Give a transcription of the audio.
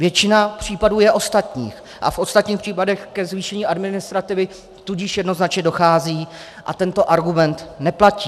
Většina případů je ostatních a v ostatních případech ke zvýšení administrativy tudíž jednoznačně dochází a tento argument neplatí.